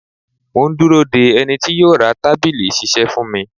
Mò ń dúró de ẹni tí yó ra tábìlì ìṣisẹ́ fún mi.